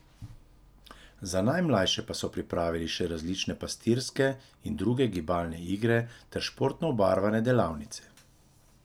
Za najmlajše pa so pripravili še različne pastirske in druge gibalne igre ter športno obarvane delavnice.